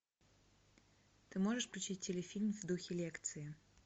ты можешь включить телефильм в духе лекции